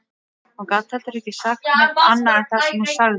Hún gat heldur ekki sagt neitt annað en það sem hún sagði